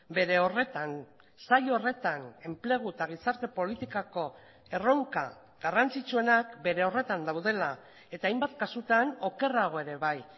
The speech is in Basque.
bere horretan sail horretan enplegu eta gizarte politikako erronka garrantzitsuenak bere horretan daudela eta hainbat kasutan okerrago ere bai